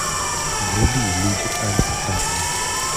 вруби люди альфа аш ди